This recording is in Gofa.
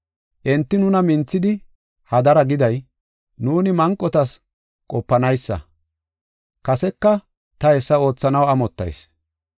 Enti nuna minthidi hadara giday, nuuni manqotas qopanaysa. Kaseka ta hessa oothanaw amottayis.